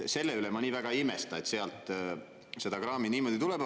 Selle üle ma nii väga ei imestada, et sealt seda kraami niimoodi tuleb.